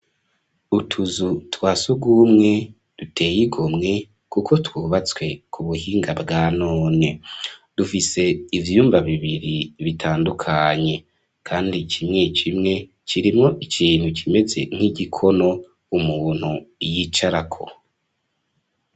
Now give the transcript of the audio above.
Utuzu twasugumwe duteye igomwe kuko twubatswe ku buhinga bwanone .Dufise ivyumba bibiri bitandukanye kandi kimwe kimwe kirimo ikintu kimeze nk'igikono umuntu yicarako.